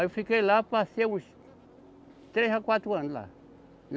Aí eu fiquei lá, passei uns três a quatro anos lá.